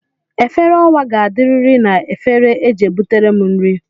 Efere owa ga-adiriri na egefere e ji butere m nri